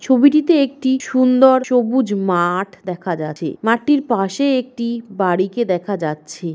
ছবিটিতে একটি সুন্দর সবুজ মা-আঠ দেখা যাছে। মাঠটির পাশে একটি বাড়ি কে দেখা যাচ্ছে।